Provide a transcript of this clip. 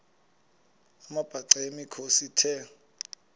amabhaca yimikhosi the